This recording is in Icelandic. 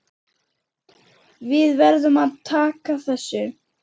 Við verðum að taka þessu.